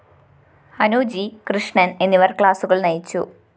Anu G Krishnan‍ എന്നിവര്‍ ക്ലാസുകള്‍ നയിച്ചു